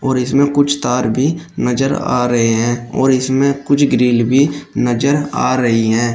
इसमें कुछ तार भी नजर आ रहे हैं और इसमें कुछ ग्रिल भी नजर आ रही हैं।